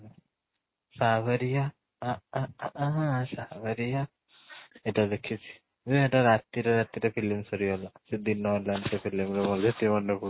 ଏଇଟା ଦେଖିଚି ଉଁ ଏଇଟା ରାତିରେ ରାତିରେ film ସରି ଗଲା ସେ ଦିନ ହେଲାଣି ସେ film ରେ ମୋର ଯେତିକି ମାନେ ପଡୁଛି